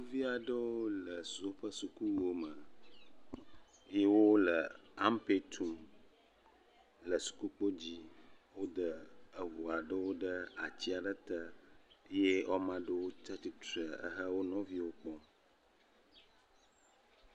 Sukuvi aɖewo le woƒe sukuwuwo me ye wo le ampɛ tum le sukukpodzi. Wo de eŋu aɖewo ɖe ati aɖe te ye wo ame aɖewo tsi atsi tre ehe wo nɔviwo kpɔm.